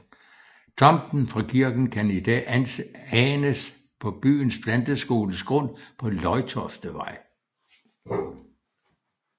Tomten fra kirken kan i dag anes på byens planteskoles grund på Løjtoftevej